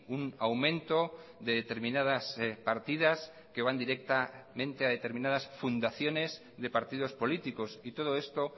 un aumento de determinadas partidas que van directamente a determinadas fundaciones de partidos políticos y todo esto